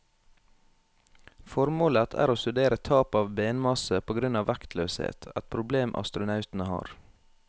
Formålet er å studere tap av benmasse på grunn av vektløshet, et problem astronautene har.